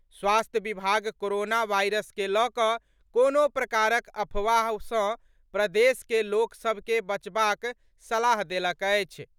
स्वास्थ्य विभाग corona virus के लऽकऽ कोनो प्रकारक अफवाह सॅ प्रदेश के लोक सभ के बचबाक सलाह देलक अछि।